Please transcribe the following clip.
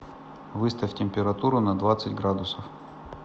выставь температуру на двадцать градусов